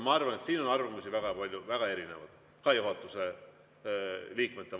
Ma arvan, et siin on arvamusi väga palju ja väga erinevaid ka juhatuse liikmetel.